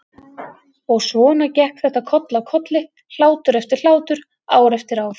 Og svona gekk þetta koll af kolli, hlátur eftir hlátur, ár eftir ár.